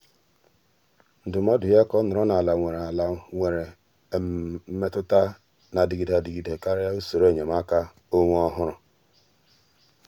ndụ́mọ́dụ́ yá kà ọ́ nọ́rọ́ n’álá nwere n’álá nwere mmètụ́ta nà-adịgide adịgide kàrị́a usoro enyemaka ọ́nwé ọ́hụ́rụ́.